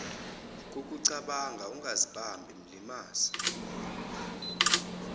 kokucabanga ungazibambi mlimaze